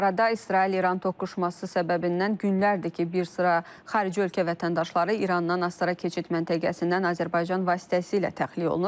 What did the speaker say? Bu arada İsrail-İran toqquşması səbəbindən günlərdir ki, bir sıra xarici ölkə vətəndaşları İrandan Astara keçid məntəqəsindən Azərbaycan vasitəsilə təxliyə olunur.